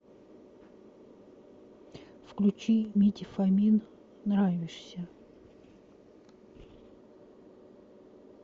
включи митя фомин нравишься